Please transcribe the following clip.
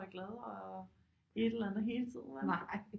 Er glad og et eller andet hele tiden vel